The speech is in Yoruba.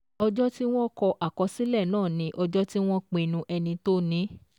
Ọjọ́ tí wọ́n kọ àkọsílẹ̀ náà ni ọjọ́ tí wọ́n pinnu ẹni tó ní.